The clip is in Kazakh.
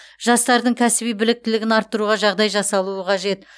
жастардың кәсіби біліктілігін арттыруға жағдай жасалуы қажет